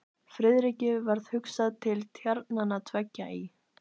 Friðriki varð hugsað til tjarnanna tveggja í